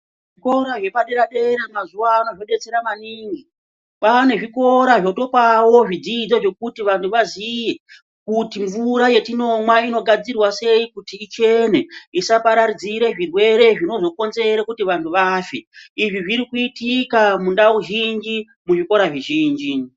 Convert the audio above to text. Zvikora zvepa dera dera mazuvano zvo detsera maningi pane zvikora zvotopawo zvidzidzo zvekuti vantu vaziye kuti mvura yatinomwa inogadzirwa sei kuti ichene isa pararidzire zvirwere zvinozo konzere kuti vantu vafe izvi zviri kuitika mundau zhinji mu zvikora zvi zhinji.